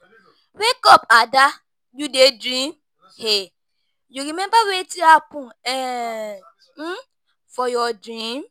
Wake up Ada, you dey dream um. You remember wetin happen um for your dream?